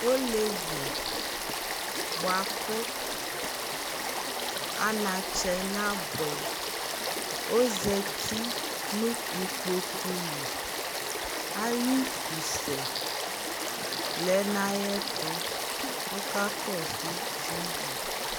olevi boa ko anatsɛ na boɛ yi ozati no ikpoku li ayi utu sɛ lɛ no ayɛto ɔka kɔso tv